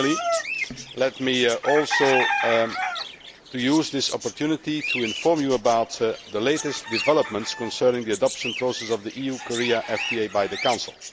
Finally, let me also use this opportunity to inform you about the latest developments concerning the adoption process of the EU Korea FTA by the Council.